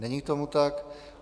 Není tomu tak.